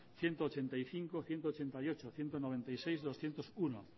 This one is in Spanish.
ciento ochenta y cinco ciento ochenta y ocho ciento noventa y seis doscientos uno